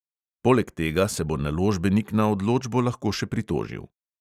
Poleg tega se bo naložbenik na odločbo lahko še pritožil.